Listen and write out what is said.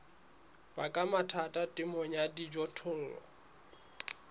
baka mathata temong ya dijothollo